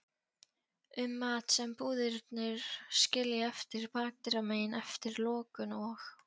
um mat sem búðirnar skilja eftir bakdyramegin eftir lokun og